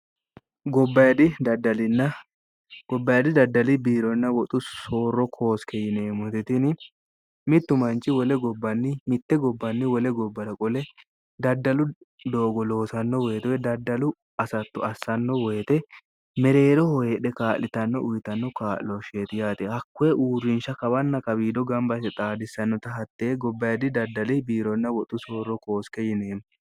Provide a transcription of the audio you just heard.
gobbayidhi daddali biironna woxu soorro koosike yineemmohtetini mittu manchi wole gobbnni mitte gobbanni wole gobbara qole daddalu doogo loosanno woyitewe daddalu asattu assanno woyite mereero hoheedhe kaa'litanno uyitanno kaa'looshsheeti yaate hakkoe uurrinsha kabanna kawiido gambase xaadissannota hatte gobbayidhi daddali biironna woxu soorro kooske yineemmo